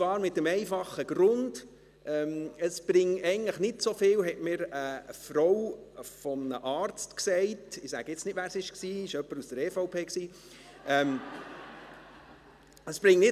Dies hat den einfachen Grund, dass es eigentlich nicht so viel bringe, neben Handwaschmöglichkeiten noch ein Sterillium zur Verfügung zu stellen: